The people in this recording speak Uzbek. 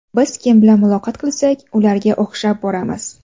Biz kim bilan muloqot qilsak, ularga o‘xshab boramiz.